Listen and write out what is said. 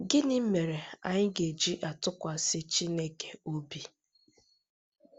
Gịnị mere anyị ga-eji atụkwasị Chineke obi?